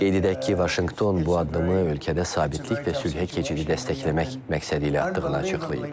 Qeyd edək ki, Vaşinqton bu addımı ölkədə sabitlik və sülhə keçidi dəstəkləmək məqsədi ilə atdığını açıqlayıb.